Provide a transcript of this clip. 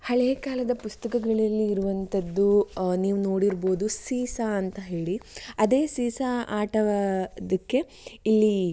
ಹಳೆಕಾಲದ ಪುಸ್ತಕದಲ್ಲಿ ಇರುವಂತಹದ್ದು ನೀವು ನೋಡಿರಬಹುದು ಸೀಸಾ ಅಂತ ಹೇಳಿ ಅದೇ ಸೀಸಾ ಆಟದಕ್ಕೆ ಇಲ್ಲಿ